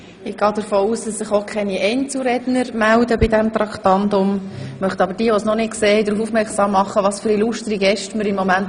Ich gehe davon aus, dass sich zu diesem Traktandum keine weiteren Einzelredner mehr melden.